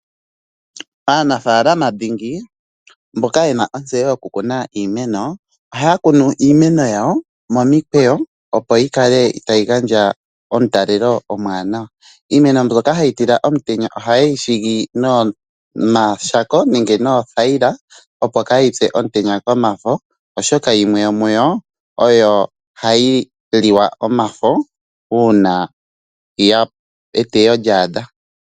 Aanafaalama dhingi, mboka ye na ontseyo yokukuna iimeno ohaya kunu iimeno yawo momikweyo, opo yi kale tayi gandja omutalelo omuwanawa. Iimeno mbyoka hayi tila omutenya ohayi siikilwa noothayila, opo kaayi pye omutenya komafo, oshoka yimwe yomu yo ohayi liwa omafo uuna eteyo lya adha.